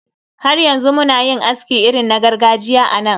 Har yanzu muna yin aski irin na gargajiya a nan.